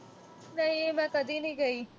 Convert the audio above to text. ਨਹੀਂ ਮੈਂ ਕਦੀ ਨੀਂ ਗਈ।